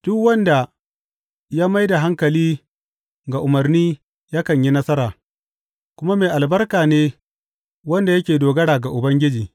Duk wanda ya mai da hankali ga umarni yakan yi nasara, kuma mai albarka ne wanda yake dogara ga Ubangiji.